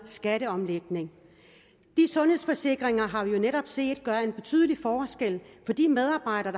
skatteomlægning de sundhedsforsikringer har vi jo netop set gør en betydelig forskel for de medarbejdere